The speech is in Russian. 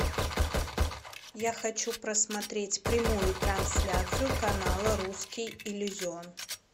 я хочу просмотреть прямую трансляцию канала русский иллюзион